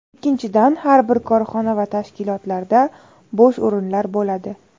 Ikkinchidan, har bir korxona va tashkilotlarda bo‘sh o‘rinlar bo‘ladi.